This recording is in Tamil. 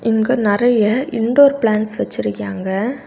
இங்கு நிறைய இன்டோர் ப்ளான்ஸ் வச்சிருக்காங்க.